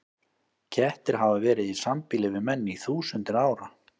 Kettir hafa verið í sambýli við menn í þúsundir ára.